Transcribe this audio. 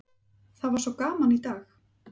Það var svo gaman í dag!